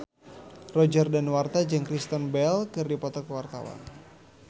Roger Danuarta jeung Kristen Bell keur dipoto ku wartawan